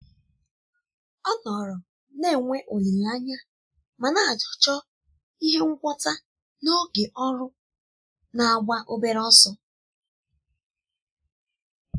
ọ nọrọ na-enwe olileanya ma na-achọ ihe ngwọta n'oge ọrụ na-agba obere ọsọ.